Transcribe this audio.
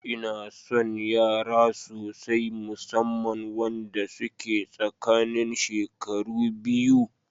Inason yara sosai, musamman wanda suke tsakanin shekaru biyu.